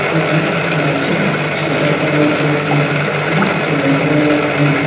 అలాగే back side shutter కనబడుతుంది అది ఎల్లో కలర్ లో ఉంది.